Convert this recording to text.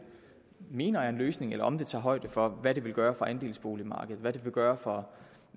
mener er en løsning eller om det tager højde for hvad det vil gøre for andelsboligmarkedet hvad det vil gøre for